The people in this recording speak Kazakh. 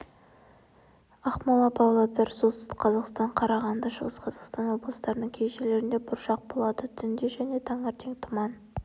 ақмола павлодар солтүстік қазақстан қарағанды шығыс қазақстан облыстарының кей жерлерінде бұршақ болады түнде және таңертең тұман